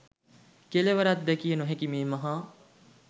කෙළවරක් දැකිය නොහැකි මේ මහා